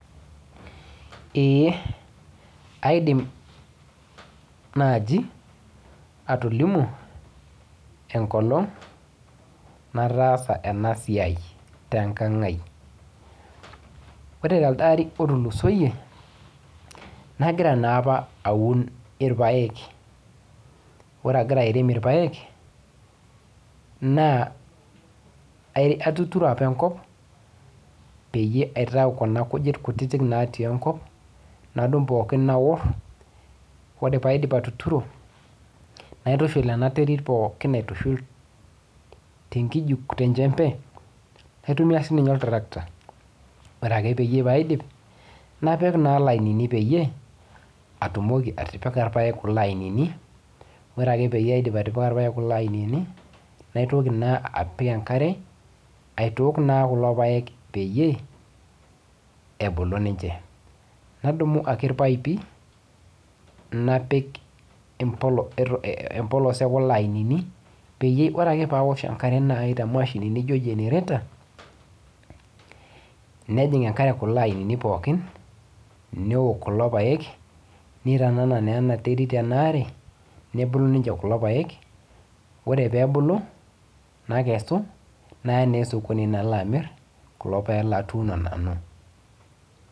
Eh aidim naaji atolimu enkolong nataasa ena siai tenkang ai ore telde ari otulusoyie nagira naa apa aun irpayek ore agira airem irpayek naa ae atuturo apa enkop peyie aitaa kuna kujit kutitik natii enkop nadung pookin aorr ore paidip atuturo naitushul ena terit pookin aitushul tenkiji tenchembe naitumia sininye oltrakata ore ake peyie paidip napik naa ilainini peyie atumoki atipikaa irpayek kulo ainini ore ake peyie aidip atipika irpayek kulo ainini naitoki naa apik enkare aitook naa kulo payek peyie ebulu ninche nadumu ake irpaipi napik empo empolos ekulo ainini peyie ore ake pawosh enkare naaji te mashini nijio generator nejing enkare kulo ainini pookin newok kulo payek neitanana naa ena terit ena are nebulu ninche kulo payek ore pebulu nakesu naya naa esokoni nalo amirr kulo payek latuuno nanu.